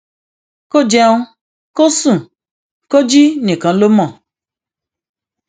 kó o jẹun kó o sùn kó o jí nìkan ló mọ